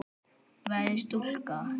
Verður stúlka.